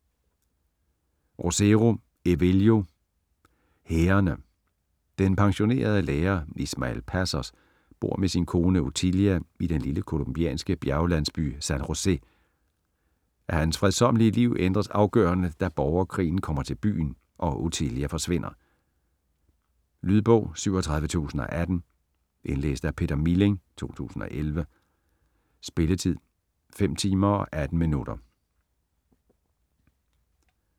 Rosero, Evelio: Hærene Den pensionerede lærer Ismael Pasos bor med sin kone Otilia i den lille colombianske bjerglandsby San Josè. Hans fredsommelige liv ændres afgørende, da borgerkrigen kommer til byen og Otilia forsvinder. Lydbog 37018 Indlæst af Peter Milling, 2011. Spilletid: 5 timer, 18 minutter.